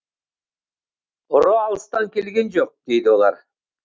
ұры алыстан келген жоқ дейді олар